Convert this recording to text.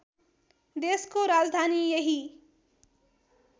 देशको राजधानी यही